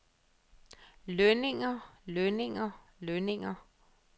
lønninger lønninger lønninger